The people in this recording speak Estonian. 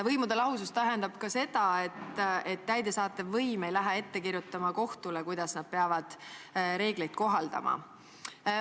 Võimude lahusus tähendab ka seda, et täidesaatev võim ei lähe kohtule ette kirjutama, kuidas see peab reegleid kohaldama.